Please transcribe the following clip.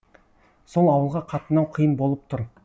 сол ауылға қатынау қиын болып тұр